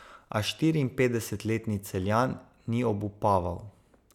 A štiriinpetdesetletni Celjan ni obupaval.